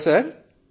hello sir